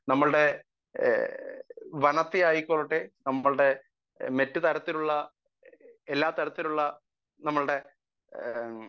speaker 1 നമ്മളുടെ വനത്തെ ആയിക്കൊള്ളട്ടെ നമ്മളുടെ മറ്റു തരത്തിലുള്ള എല്ലാ തരത്തിലുള്ള നമ്മളുടെ